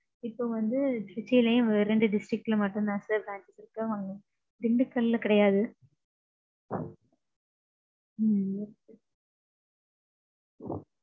இப்போ வந்து திருச்சிலயும் வேற ரெண்டு district லயும் மட்டும்தான் sir branches இருக்கு. திண்டுக்கல்ல கிடையாது. ம்ம்.